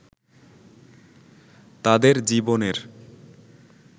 তাদের জীবনের